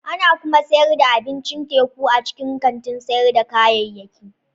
Ana kuma sayar da abincin teku a cikin kantin sayar da kayayyaki.